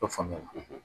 O faamu na